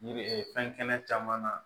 Yiri fɛn kɛnɛ caman na